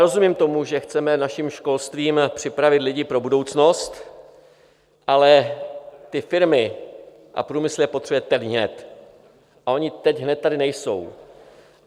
Rozumím tomu, že chceme naším školstvím připravit lidi pro budoucnost, ale ty firmy a průmysl je potřebuje teď hned a oni teď hned tady nejsou.